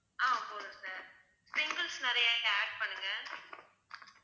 ஆஹ் போதும் sir, sprinkles நிறைய நீங்க add பண்ணுங்க